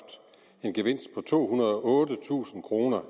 en gevinst på tohundrede og ottetusind kroner